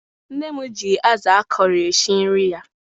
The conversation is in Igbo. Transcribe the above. nne m ji azu akọrọ esi nri ya